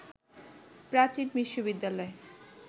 প্রাচীন বিশ্ববিদ্যালয়